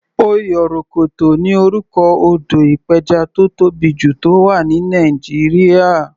Oyorokoto ni orúkọ odò ìpẹjà tó tóbì jù, tó wà ní Nàìjíríà.